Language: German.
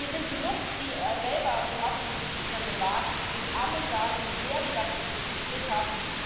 Hier sind genug, die selber Erasmus Studierende waren, und alle sagen, wie sehr sie davon profitiert haben.